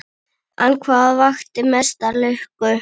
En hvað vakti mesta lukku?